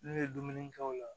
N'u ye dumuni kɛ o la